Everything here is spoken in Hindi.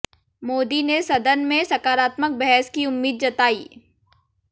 मोदी ने सदन में सकारात्मक बहस की उम्मीद जताई